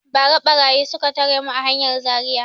Ba ra ɓarayi suka tare mu a hanyar Zaria